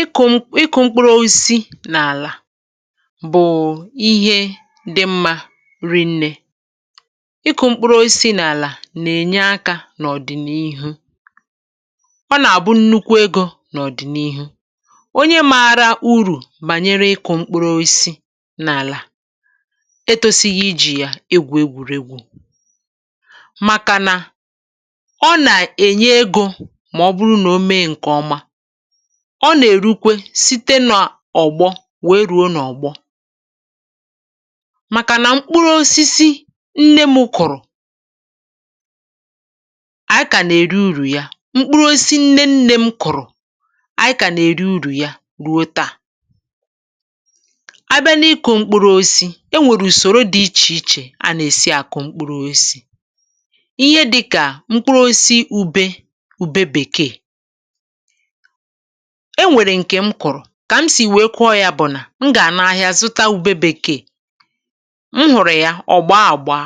ịkụ̇ ịkụ̇ mkpụrụ osisi n’àlà bụ̀ ihe dị mmȧ, ri̇ nnė. Ịkụ̇ mkpụrụ osisi n’àlà nà-ènye akȧ n’ọ̀dị̀nihu; ọ nà-àgbụ nnukwu egȯ n’ọ̀dị̀nihu. Onye màrà urù bànyere ịkụ̇ mkpụrụ osisi n’àlà etusighi ijì yà egwù, um egwùregwù, màkà nà ọ nà-ènye egȯ; ọ nà-èrukwe site nà ọ̀gbọ nwèe rùo n’ọ̀gbọ. Màkà nà mkpụrụ osisi nne mkpụ̀rụ̀ ànyị kà nà-èri urù ya; mkpụrụ osisi nne nne m kụ̀rụ̀ ànyị kà nà-èri urù ya ruo taa. A bịa n’ịkụ̇ mkpụrụ osisi, e nwèrè ùsòrò dị ichè ichè a nà-èsi àkụ mkpụrụ osisi — ihe dịkà mkpụrụ osisi ube, ube bèkeè. E nwèrè ǹkè m kụ̀rụ̀ kà m sì wèe kwụọ yȧ, bụ̀ nà m gà-àna ahịȧ zụta wụ̀bebèkè. È m hụ̀rụ̀ ya, ọ̀ gbaa àgba,